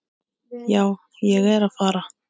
Já, ég er að fara.